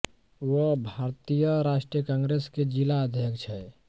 वह भारतीय राष्ट्रीय कांग्रेस के जिला अध्यक्ष हैं